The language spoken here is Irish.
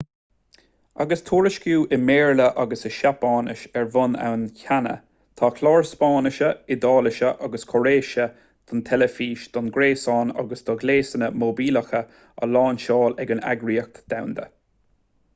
agus tuairisciú i mbéarla agus i seapáinis ar bun ann cheana tá cláir spáinnise iodáilise agus chóiréise don teilifís don ghréasáin agus do ghléasanna móibíleacha á lainseáil ag an eagraíocht dhomhanda